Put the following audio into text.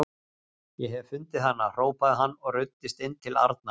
Ég hef fundið hana! hrópaði hann og ruddist inn til Arnar.